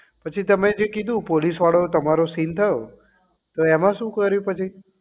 પછી તમે જે કીધું પોલીસ વાળો તમારો જે seen થયો તો એમાં શું કર્યું પછી